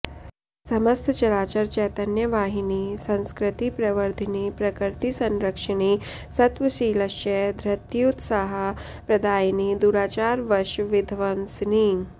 समस्त चराचर चैतन्य वाहिनि संस्कृति प्रवर्धिनि प्रकृतिसंरक्षिणि सत्वशीलस्य धृत्युत्साह प्रदायिनि दुराचार वश विध्वंसिनि